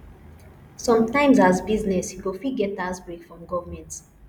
sometimes as business you go fit get tax break from government